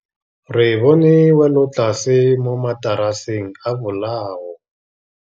Re bone wêlôtlasê mo mataraseng a bolaô.